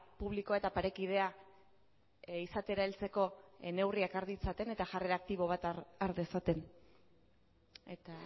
publikoa eta parekidea izatera heltzeko neurriak har ditzaten eta jarrera aktibo bat har dezaten eta